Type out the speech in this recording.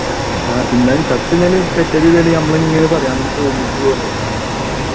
ഉം ആഹ് എന്നാലും ചത്ത് കഴിഞ്ഞാലും നമ്മളിങ്ങനെ പറയും അങ്ങട്ട് പോ ഇങ്ങട്ട് പോന്ന് പറയും